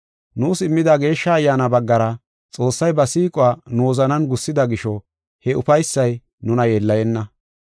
Nuus immida Geeshsha Ayyaana baggara Xoossay ba siiquwa nu wozanan gussida gisho he ufaysay nuna yeellayenna.